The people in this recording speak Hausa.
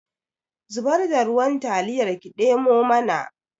Zubar da ruwan taliyar ki ɗemo mana